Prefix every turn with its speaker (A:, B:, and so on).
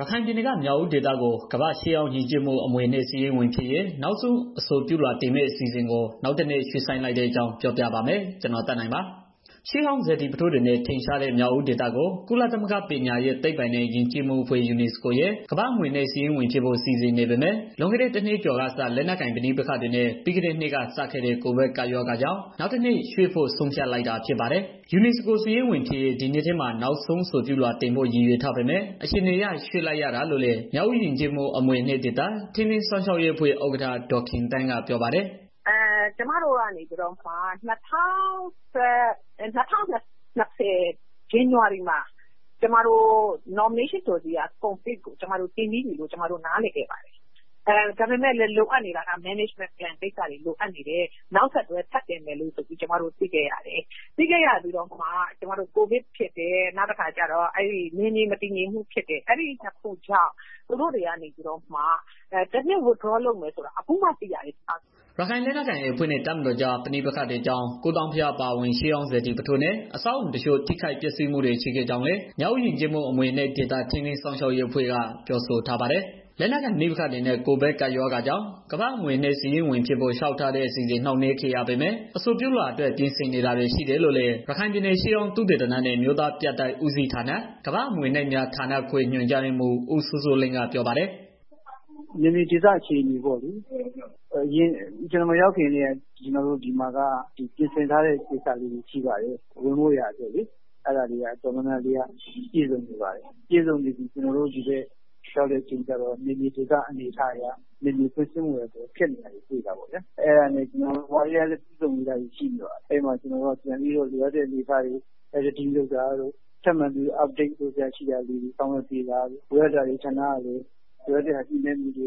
A: ရခိုင်ပြည်နယ်က၊ မြောက်ဦးဒေသကို ကမ္ဘာ့ရှေးဟောင်းယဉ်ကျေးမှု အမွေအနှစ် စာရင်းဝင်ဖြစ်ရေး နောက်ဆုံး အဆိုပြုလွှာတင်မယ့် အစီအစဉ်ကို နောက် ၁ နှစ် ရွှေ့ဆိုင်းလိုက်တဲ့အကြောင်း ပြောပြပါမယ်။ VOA မြန်မာပိုင်းသတင်းထောက် ကိုသက်နိုင်က ရခိုင်ပြည်နယ်ကနေ သတင်းပေးပို့ထားပါတယ်။ ရှေးဟောင်းစေတီပုထိုးတွေနဲ့ ထင်ရှားတဲ့ မြောက်ဦးဒေသကို ကုလသမဂ္ဂ ပညာရေး၊ သိပ္ပံနဲ့ ယဉ်ကျေးမှုအဖွဲ့ ရဲ့ ကမ္ဘာ့အမွေအနှစ် စာရင်းဝင်ဖြစ်ဖို့ စီစဉ်နေပေမယ့် လွန်ခဲ့တဲ့ တနှစ်ကျော်ကစ လက်နက်ကိုင် ပဋိပက္ခတွေနဲ့ ပြီးခဲ့တဲ့နှစ်ကစခဲ့တဲ့ ကိုဗစ်ကပ်ရောဂါကြောင့် နောက်တနှစ် ရွှေ့ဖို့ ဆုံးဖြတ်လိုက်တာ ဖြစ်ပါတယ်။ UNESCO စာရင်းဝင်ဖြစ်ရေး ဒီနှစ်ထဲမှာ နောက်ဆုံး အဆိုပြုလွှာတင်ဖို့ ရည်ရွယ်ထားပေမဲ့ အခြေအနေအရ ရွှေ့လိုက်ရတာလို့လည်း မြောက်ဦးယဉ်ကျေးမှု အမွေအနှစ်ဒေသ ထိန်းသိမ်း စောင့်ရှောက်ရေးအဖွဲ့ ဥက္ကဌ ဒေါ်ခင်သန်းက
B: ပြောပါတယ်။ “ကျမတို့ကတော့ ၂၀၂၀ ဇန်နဝါရီမှာ နောက်ဆုံးအဆိုပြုလွှာကို တင်ပြီးပြီဆိုပြီးတော့ ကျမတို့ နားလည်ခဲ့တယ်။ ဒါပေမယ့် လိုအပ်နေတာက စီမံခန့်ခွဲမှူတွေ လိုအပ်နေတယ်ဆိုပြီးတော့ နောက်ဆက်တွဲ ထပ်တင်မယ်ဆိုပြီးတော့ ကျမတို့ သိခဲ့ရတယ်။ သိပြီးတော့ မှ COVIDဖြစ် တယ် နောက်ပြီးတော့ နယ်မြေမငြိမ်မသက်ဖြစ်တော့ အဲဒီနှစ်ခုကြောင့် သူတို့က တစ်နှစ် နောက်ဆုတ်မယ်ဆိုတာ အခုမှ သိရတယ်။”
A: ရခိုင်လက်နက်ကိုင် AA အဖွဲ့နဲ့ တပ်မတော်ကြား ပဋိပက္ခတွေကြောင့် ကိုးသောင်းဘုရား အပါအဝင် ရှေးဟောင်း စေတီပုထိုးနဲ့ အဆောက်အအုံတချို့ ထိခိုက်ပျက်စီးမှုတွေ ရှိခဲ့ကြောင်း လည်း မြောက်ဦးယဉ်ကျေးမှု အမွေအနှစ်ဒေသ ထိန်းသိမ်း စောင့်ရှောက်ရေးအဖွဲ့ က ပြောဆိုထားပါတယ်။ လက်နက်ကိုင် ပဋိပက္ခတွေနဲ့ ကပ်ရောဂါကြောင့် ကမ္ဘာ့အမွေအနှစ် စာရင်းဝင်ဖြစ်ဖို့ လျှောက် ထားတဲ့ အစီအစဉ် နှောင့်နှေးခဲ့ရပေမယ့် အဆိုပြုလွှာအတွက် ပြင်ဆင်နေတာတွေ ရှိတယ်လို့ လည်း ရခိုင်ပြည်နယ် ရှေးဟောင်းသုတေသနဲ့ အမျိုးသားပြတိုက်ဦးစီးဌာန ကမ္ဘာ့အမွေအနှစ် များဌာနခွဲ ညွန်ကြားရေးမှူး ဦးစိုးစိုးလင်းက ပြောပါတယ်
C: ။ “အဓိကတော့ နယ်မြေဒေသအခြေအနေပေါ့လေ။ ကျနော်မရောက်ခင်ကတည်းက ဒီဖက်မှာက ပြင်ဆင်ထားတာတွေရှိပါတယ်။ ဝင်ဖို့ရာအတွက်လေ။ အဲတာတွေက တော်တော်များ များပြည့်စုံနေပါတယ်။ ပြည့်စုံနေပေမယ့် ဒီဘက်မှာက နယ်မြေဒေသအနေအထားအရ ဖြစ်နေတောတွေ့တော့ ကျနော်တို့က ပြန်ပြီးတော့ updateာလုပ်တာတို့ လိုအပ်တာတွေကို ဆောင်ရွက်ပေးတာတို့ လိုအပ်တာတွေကို ညှိနိုင်းတာတို့ လုပ်ဆောင်နေတာ အတေ